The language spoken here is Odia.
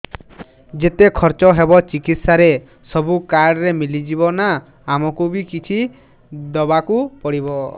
ଯେତେ ଖର୍ଚ ହେବ ଚିକିତ୍ସା ରେ ସବୁ କାର୍ଡ ରେ ମିଳିଯିବ ନା ଆମକୁ ବି କିଛି ଦବାକୁ ପଡିବ